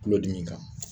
Tulodimi kan